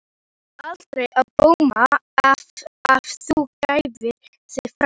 En bar aldrei á góma að þú gæfir þig fram?